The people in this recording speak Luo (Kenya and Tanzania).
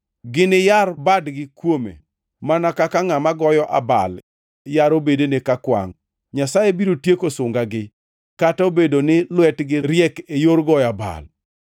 Giniyar badgi kuome, mana kaka ngʼama goyo abal yaro bedene ka kwangʼ. Nyasaye biro tieko sungagi kata obedo ni lwetgi riek e yor goyo abal.